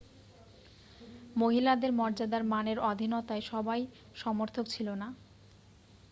মহিলাদের মর্যাদার মানের অধীনতায় সবাই সমর্থক ছিল না